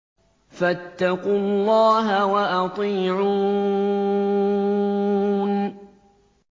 فَاتَّقُوا اللَّهَ وَأَطِيعُونِ